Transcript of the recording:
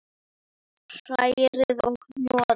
Hrærið og hnoðið.